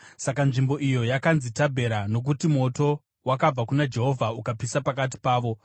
Saka nzvimbo iyo yakanzi Tabhera, nokuti moto wakabva kuna Jehovha ukapisa pakati pavo.